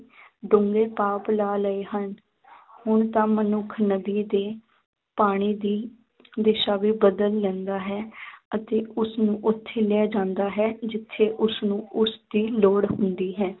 ਪਾਪ ਲਾ ਲਏ ਹਨ ਹੁਣ ਤਾਂ ਮਨੁੱਖ ਨਦੀ ਦੇ ਪਾਣੀ ਦੀ ਦਿਸਾ ਵੀ ਬਦਲ ਲੈਂਦਾ ਹੈ ਅਤੇ ਉਸਨੂੰ ਉੱਥੇ ਲੈ ਜਾਂਦਾ ਹੈ ਜਿੱਥੇ ਉਸਨੂੰ ਉਸਦੀ ਲੌੜ ਹੁੰਦੀ ਹੈ।